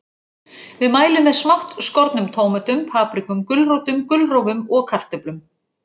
Við mælum með smátt skornum tómötum, paprikum, gulrótum, gulrófum og kartöflum.